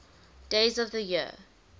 days of the year